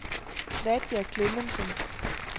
Nadja Klemmensen